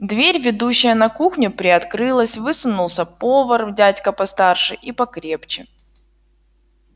дверь ведущая на кухню приоткрылась высунулся повар дядька постарше и покрепче